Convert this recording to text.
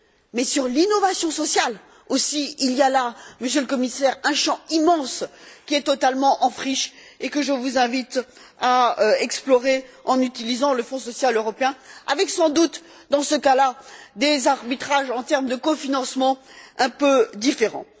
Mais sur l'innovation sociale, aussi, il y a là, Monsieur le Commissaire, un champ immense qui est totalement en friche et que je vous invite à explorer en utilisant le Fonds social européen avec, sans doute, dans ce cas là, des arbitrages en termes de cofinancement un peu différents.